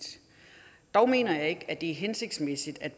dog mener jeg ikke at det er hensigtsmæssigt at